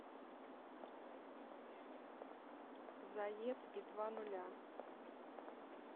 зед и два нуля